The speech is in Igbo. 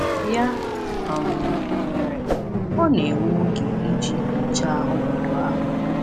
Ya um mere, ọ na-ewe oge iji nyochaa ọnọdụ ahụ.